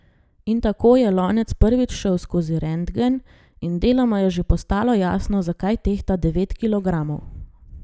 In tako je lonec prvič šel skozi rentgen in deloma je že postalo jasno, zakaj tehta devet kilogramov.